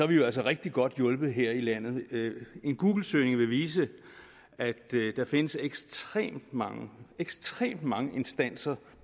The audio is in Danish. vi jo altså rigtig godt hjulpet her i landet en googlesøgning vil vise at der findes ekstremt mange ekstremt mange instanser